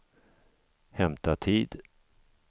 hämta tid